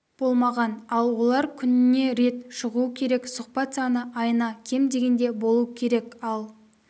болмаған ал олар күніне рет шығу керек сұхбат саны айына кем дегенде болу керек ал